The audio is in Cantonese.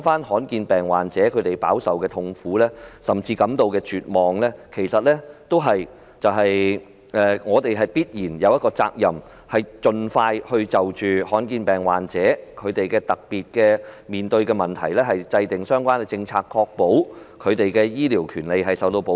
罕見疾病患者飽受痛苦，甚至感到絕望，政府其實有必然的責任，就罕見疾病患者面對的特別問題盡快制訂相關政策，確保他們的醫療權利受到保障。